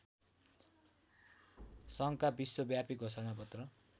सङ्घका विश्वव्यापी घोषणापत्र